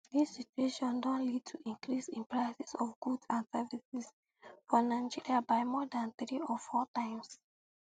dis situation don lead um to increase in prices of goods and services for nigeria by more dan three or four times